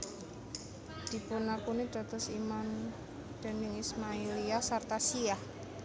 Dipunakuni dados imam dening Ismailiyah sarta Syiah